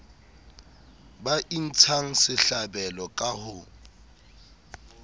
ba intshang sehlabelo ka ho